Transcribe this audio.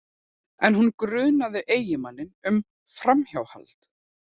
En hún grunaði eiginmanninn um framhjáhald